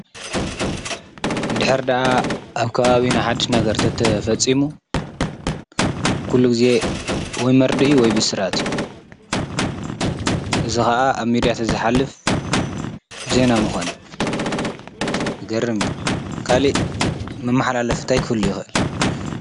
እንድሕር ዳኣ ኣብ ከባቢና ሓዱሽ ነገር እንተተፈፅሙ ኩሉ ግዜ ወይ መርድእ እዩ ወይ ብስራት እዩ። እዙይ ከዓ ኣብ ምድያ ስለ እንተዝሓልፍ ዜና ምኮነ። ዝገርም እዩ ካሊኢ መማሓላለፊ እንታይ ክህሉ ይክእል?